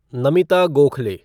Namita Gokhale